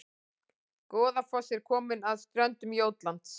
Goðafoss er komin að ströndum Jótlands